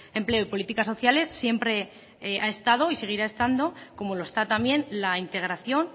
empleo y políticas sociales siempre ha estado y seguirá estando como lo está también la integración